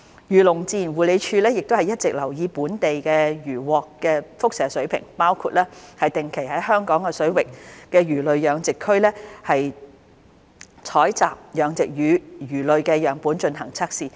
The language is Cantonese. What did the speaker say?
漁農自然護理署會一直留意本地漁穫的輻射水平，包括定期在香港水域的魚類養殖區採集養殖魚類樣本進行測試。